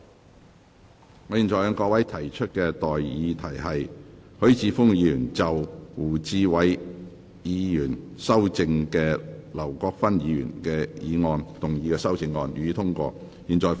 我現在向各位提出的待議議題是：許智峯議員就經胡志偉議員修正的劉國勳議員議案動議的修正案，予以通過。